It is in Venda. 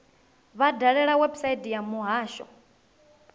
vha dalele website ya muhasho